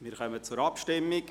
Wir kommen zur Abstimmung.